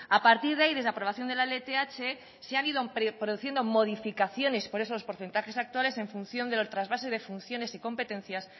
a partir de ahí desde la aprobación de la lth se han ido produciendo modificaciones con esos porcentajes actuales en función de los trasvases de funciones y competencias